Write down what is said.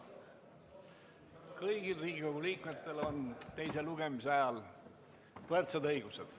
Kõigil Riigikogu liikmetel on teise lugemise ajal võrdsed õigused.